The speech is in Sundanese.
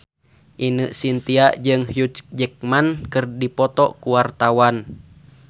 Ine Shintya jeung Hugh Jackman keur dipoto ku wartawan